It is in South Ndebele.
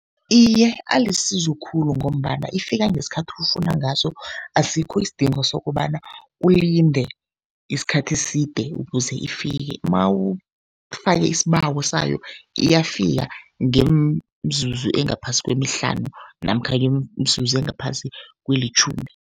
Iye, alisizo khulu ngombana ifika ngesikhathi ofuna ngaso, asikho isidingo sokobana ulinde isikhathi eside ukuze ifike. Mawufake isibawo sayo iyafika ngemzuzu engaphasi kwemihlanu namkha ngemizuzu engaphasi kwelitjhumi.